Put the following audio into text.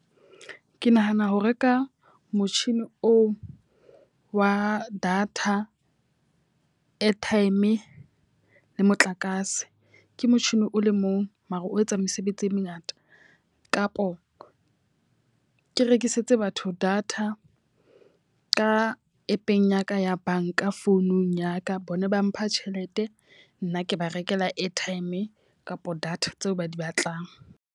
Ke nahana ho reka motjhini oo wa data, airtime le motlakase. Ke motjhini o le mong mara o etsang mesebetsi e mengata. Kapo le rekisetse batho data ka app-eng ya ka ya banka founung ya ka. Bona ba mpha tjhelete, nna ke ba rekela airtime kapa data tseo ba di batlang.